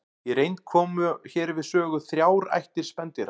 Í reynd koma hér við sögu þrjár ættir spendýra.